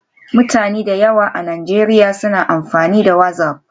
Mutane da yawa a Najeriya suna amfani da WhatsApp.